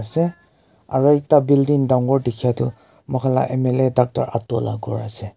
aru ekta building dangor dekha toh moi khan laga mla drato ase.